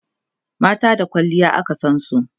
mata da kwalliya aka San su